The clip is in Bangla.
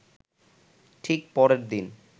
ঠিক পরের দিন